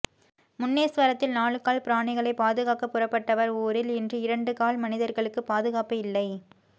முன்னேஸ்வரத்தில் நாலு கால் பிராணிகளை பாதுகாக்க புறப்பட்டவர் ஊரில் இன்று இரண்டு கால் மனிதர்களுக்கு பாதுகாப்பு இல்லை